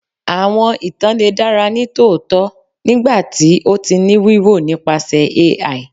Awọn itan le dara nitootọ nigbati o ti ni wiwo nipasẹ ai